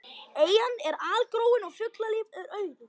Eyjan er algróin og fuglalíf er auðugt.